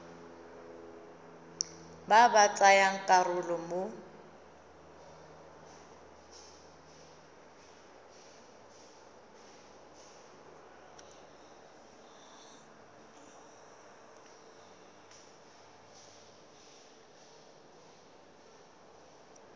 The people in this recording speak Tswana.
ba ba tsayang karolo mo